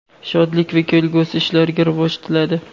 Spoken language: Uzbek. shodlik va kelgusi ishlariga rivoj tiladi.